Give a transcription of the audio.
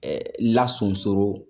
lasunsoro.